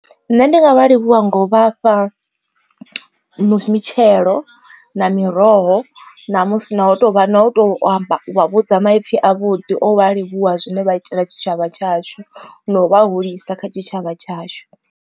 Nṋe ndi nga vha livhuwa nga u vha fha mitshelo na miroho na musi na u tovha na u to amba wa vhudza maipfi a vhuḓi o vha livhuwa zwine vha itela tshitshavha tshashu no vha hulisa kha tshitshavha tshashu.